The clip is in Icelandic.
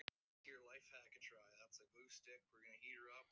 Svo hefur þó ekki alltaf verið.